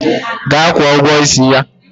Gaa kwụọ ụgwọ isi ya!